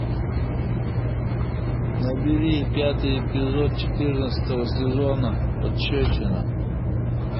набери пятый эпизод четырнадцатого сезона пощечина